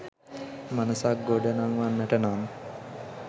මනසක් ගොඩ නංවන්නට නම්,